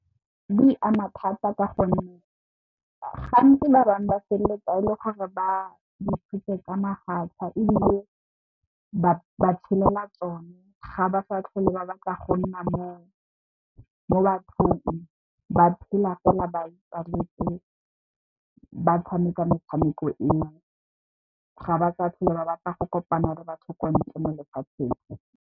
Di ama thata ka gonne gantsi ba bangwe ba feleletsa e le gore ba di tshotse ka mafatlha ebile, ba tshelela tsone ga ba sa tlhole ba batla go nna mo bathong ba phela fela ba itswalletse ba tshameka metshameko eo. Ga ba sa tlhole ba batla go kopana le batho ko ntle mo lefatsheng.